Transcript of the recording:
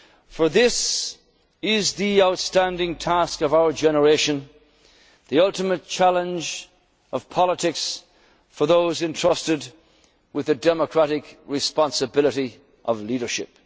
we can do no less. For this is the outstanding task of our generation, the ultimate challenge of politics for those entrusted with the democratic responsibility